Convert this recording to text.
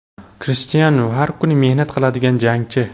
Krishtianu – har kuni mehnat qiladigan jangchi.